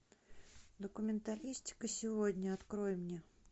документалистика сегодня открой мне